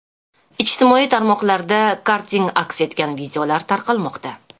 Ijtimoiy tarmoqlarda karting aks etgan videolar tarqalmoqda.